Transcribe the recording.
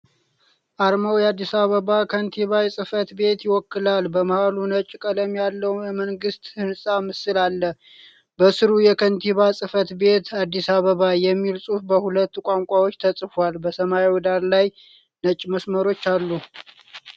አርማው የአዲስ አበባን ከንቲባ ጽሕፈት ቤት ይወክላል። በመሃሉ ነጭ ቀለም ያለው የመንግስት ሕንጻ ምስል አለ። በስሩ "የከንቲባ ጽሕፈት ቤት - አዲስ አበባ" የሚል ጽሑፍ በሁለት ቋንቋዎች ተጽፏል። በሰማያዊ ዳራ ላይ ነጭ መስመሮች አሉ።